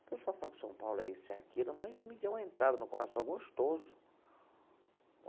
O pessoal fala que São Paulo é isso, é aquilo, mas me deu uma entrada no coração gostoso.